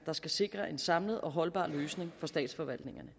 der skal sikre en samlet og holdbar løsning for statsforvaltningerne